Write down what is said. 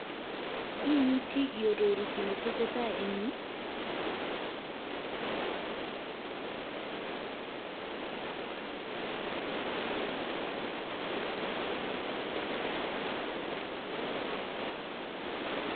Imuchi iaroru kit netesetai en yu?